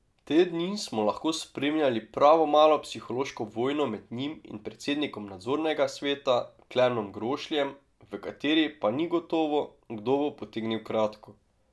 Te dni smo lahko spremljali pravo malo psihološko vojno med njim in predsednikom nadzornega sveta Klemnom Grošljem, v kateri pa ni gotovo, kdo bo potegnil kratko.